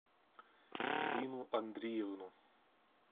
ирину андреевну